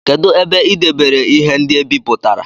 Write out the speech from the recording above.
Kedu ebe ị debere ihe ndị e bipụtara?